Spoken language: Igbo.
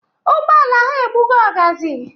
Ụgbọala ha egbugo ọgazị.